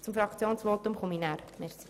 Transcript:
Das Fraktionsvotum halte ich später.